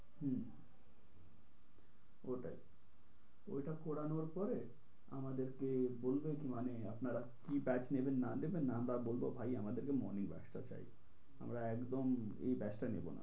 হম ওটাই ওইটা করানোর পরে আমাদেরকে বলবে মানে আপনারা কী batch নেবেন কি না নেবেন আমরা বলবো ভাই আমাদের morning batch টা চাই আমরা একদম এই batch টা নেব না।